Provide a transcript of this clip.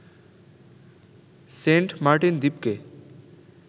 Saint Martin দ্বীপকে